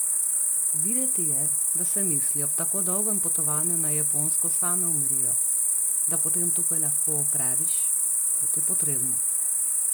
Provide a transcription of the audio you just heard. Videti je, da se misli ob tako dolgem potovanju na Japonsko same umirijo, da potem tukaj lahko opraviš, kot je potrebno.